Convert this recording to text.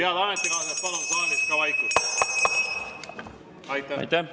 Head ametikaaslased, palun saalis vaikust!